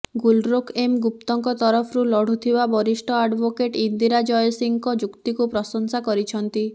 Gulrokh M ଗୁପ୍ତଙ୍କ ତରଫରୁ ଲଢୁଥିବା ବରିଷ୍ଠ ଆଡୋଭୋକେଟ ଇନ୍ଦିରା ଜୟସିଂହଙ୍କ ଯୁକ୍ତିକୁ ପ୍ରଶଂସା କରିଛନ୍ତି